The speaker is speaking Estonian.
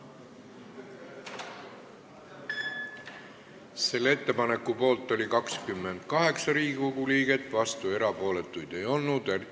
Hääletustulemused Selle ettepaneku poolt oli 28 Riigikogu liiget, vastuolijaid ega erapooletuid ei olnud.